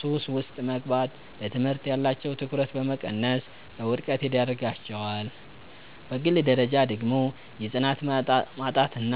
ሱስ ውስጥ መግባት፣ ለትምህርት ያላቸውን ትኩረት በመቀነስ ለውድቀት ይዳርጋቸዋል። በግል ደረጃ ደግሞ የጽናት ማጣትና